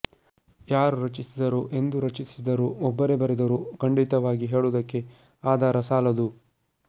ಯಾರು ರಚಿಸಿದರೋ ಎಂದು ರಚಿಸಿದರೋ ಒಬ್ಬರೇ ಬರೆದರೋ ಖಂಡಿತವಾಗಿ ಹೇಳುವುದಕ್ಕೆ ಆಧಾರ ಸಾಲದು